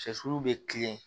Sɛsulu be kilen